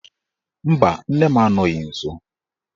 Mba, nne m anọghị nsọ